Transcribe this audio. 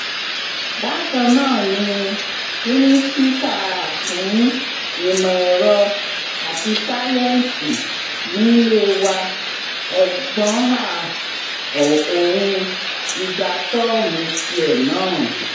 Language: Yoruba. bákan ná ni mínísítà fún ìmọ̀ èrò àti sáyẹ́ǹsì nílé wa ọgbọ́nhà òun ti gba fọ́ọ̀mù tiẹ̀ náà